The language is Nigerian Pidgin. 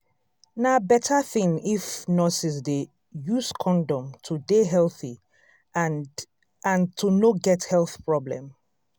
na better thing if nurses dey use condom to dey healthy and and to no get health problem